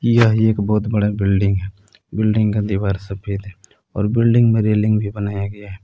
यह एक बहुत बड़ा बिल्डिंग है बिल्डिंग का दीवार सफेद है और बिल्डिंग में रेलिंग भी बनाया गया है।